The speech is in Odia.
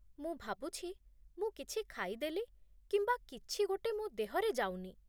ମୁଁ ଭାବୁଛି ମୁଁ କିଛି ଖାଇଦେଲି କିମ୍ବା କିଛି ଗୋଟେ ମୋ ଦେହରେ ଯାଉନି।